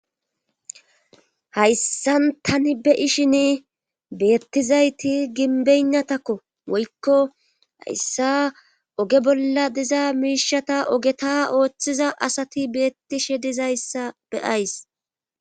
Hayssan tani be ishin beettizayti ginbeynnatakko woykko hayssa oge bolla diza miishata ogeta ooththiza asati beettishe dizayssa beyays.